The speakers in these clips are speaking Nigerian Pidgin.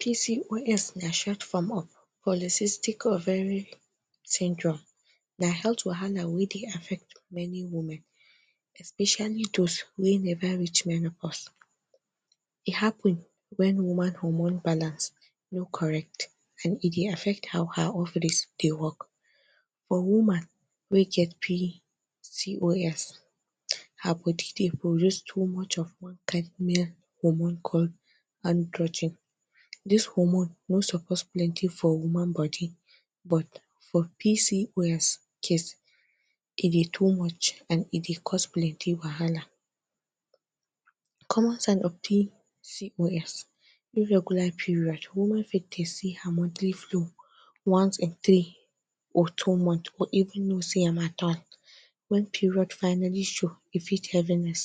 PCOS na short form of Polycystic ovary syndrome, na health wahala wey dey affect many women especially those wey never reach menopause, e happen when woman hormone balance no correct and e dey affect how her ovaries dey work. For woman wey get PCOS her body dey produce too much of one kind male hormone called Androgen. This hormone no suppose plenty for woman body but for PCOS case e dey too much and e dey cause plenty wahala. Common sign of PCOS, Irregular period, woman fit tay see her monthly flow once in three or two months or e no see am at all when period finally show, e feel heaviness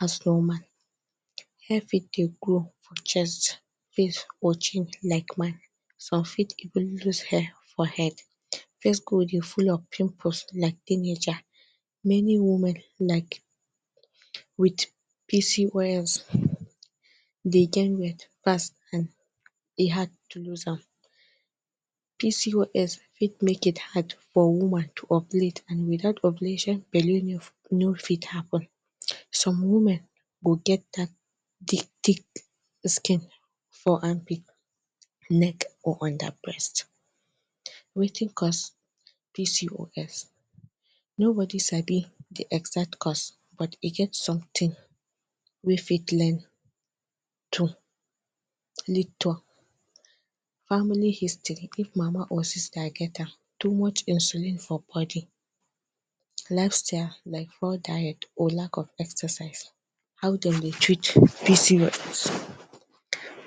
as normal, hair fit they grow for chest, face or chin like man ,some fit even loose hair for head face go dey full of pimples like teenager many woman like with PCOS they gain weight fast and e hard to loose am, PCOS fit make it hard for woman to ovulate and without ovulation belle no fit happen some women go get thick thick skin for armpit neck or under breast. Wetin cause PCOS? Nobody sabi d exact cause but e get something wey fit lead to family history if mama or sister get am too much insulin for body, Llifestyle like poor diet or lack of exercise. How them they treat PCOS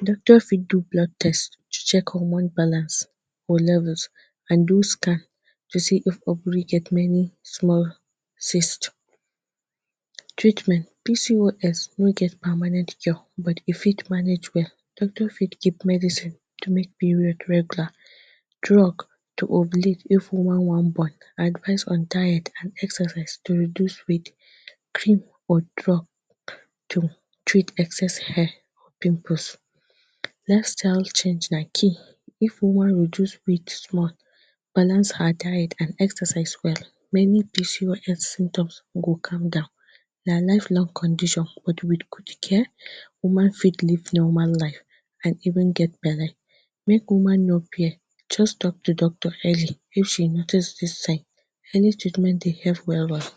Doctor fit do blood test to check hormone balance or levels and do scam to see if ovary get any small cyst treatment pcos no get permanent cure but e fit manage well doctor fit keep medicine to make period regular drug to ovulate if woman wan born, advice on diet and exercise to reduce weight, cream or drug to treat excess hair, pimples lifestyle change na key if woman reduce weight small balance her diet and exercise well many PCOS symptoms go calm down na lifelong condition but with good care woman fit live normal life and even get belle make woman no fear just talk to doctor early if she notice this thing any treatment dey help well well.